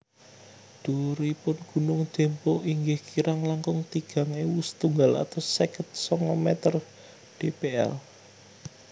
Dhuwuripun gunung Dempo inggih kirang langkung tigang ewu setunggal atus seket sanga meter dpl